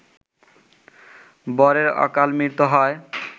বরের অকালমৃত্যু হয়